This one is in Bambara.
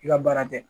I ka baara tɛ